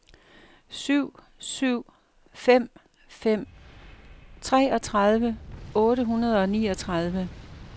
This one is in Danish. syv syv fem fem treogtredive otte hundrede og niogtredive